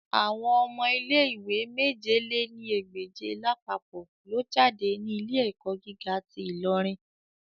Awọn ọmọ ile-iwe mèje lé ní ẹgbẹ́je lapapọ lo jade ni ile-ẹkọ giga ti Ilorin